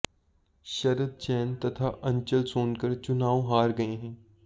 शरद जैन तथा अंचल सोनकर चुंनाव हार गए हैं